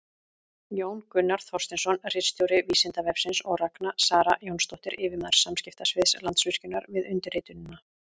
Jón Gunnar Þorsteinsson, ritstjóri Vísindavefsins, og Ragna Sara Jónsdóttir, yfirmaður samskiptasviðs Landsvirkjunar, við undirritunina.